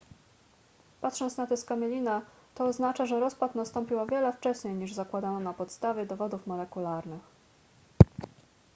patrząc na tę skamielinę to oznacza że rozpad nastąpił o wiele wcześniej niż zakładano na podstawie dowodów molekularnych